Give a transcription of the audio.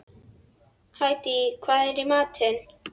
Hædý, hvað er í matinn?